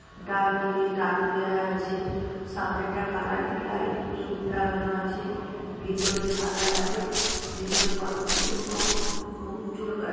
ডানদিকে টালি দেয়া আছে সামনেটা কালারিং লাইট লাগানো আছে। ভিতরে সাদা লাইট ভিতরে কতগুলো লোক উম চুল কা--